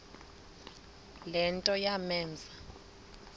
le nto yamenza